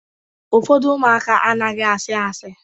Ụfọdụ ụmụaka anaghị ashi ashi